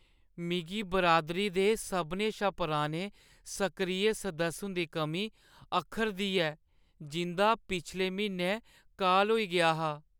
मिगी बरादरी दे सभनें शा पुराने सक्रिय सदस्य हुंदी कमी अक्खरदी ऐ जिंʼदा पिछले म्हीनै काल होई गेआ हा।